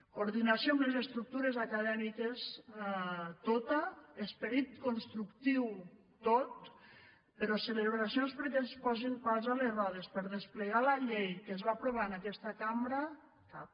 coordinació amb les estructures acadèmiques tota esperit constructiu tot però celebracions perquè es posin pals a les rodes per desplegar la llei que es va aprovar en aquesta cambra cap